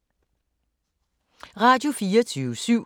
Radio24syv